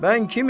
Mən kiməm?